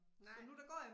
Nej